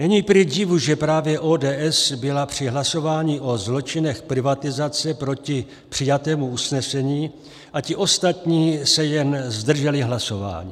Není prý divu, že právě ODS byla při hlasování o zločinech privatizace proti přijatému usnesení a ti ostatní se jen zdrželi hlasování.